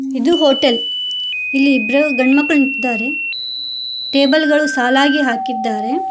ಇದು ಹೋಟೆಲ್ ಇಲ್ಲಿ ಇಬ್ರು ಗಂಡು ಮಕ್ಕಳು ನಿಂತಿದ್ದಾರೆ ಟೇಬಲ್ ಗಳು ಸಾಲಾಗಿ ಹಾಕಿದ್ದಾರೆ.